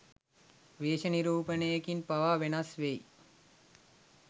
වේශ නිරූපණයකින් පවා වෙනස් වෙයි.